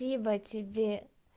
либо тебе